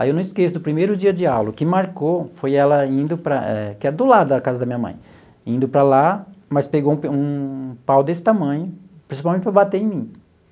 Aí eu não esqueço, do primeiro dia de aula, o que marcou foi ela indo para... que é do lado da casa da minha mãe, indo para lá, mas pegou um pe um pau desse tamanho, principalmente para bater em mim.